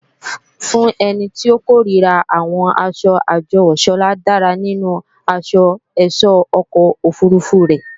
Fún ẹni tó kòríra àwọn asọ àjọwò, Sọlá dára nínú asọ ẹ̀sọ́ ọkọ̀ òfurufú rẹ̀